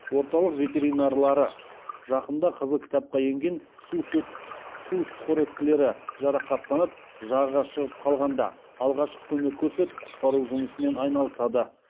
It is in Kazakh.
орталық ветеринарлары жақында қызыл кітапқа енген су сүтқоректілері жарақаттанып жағаға шығып қалғанда алғашқы көмек көрсетіп құтқару жұмысымен айналысады